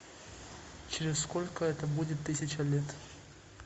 через сколько это будет тысяча лет